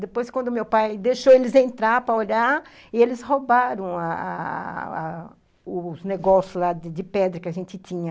Depois, quando meu pai deixou eles entrarem para olhar, eles roubaram ah ah ah os negócios de pedra lá que a gente tinha.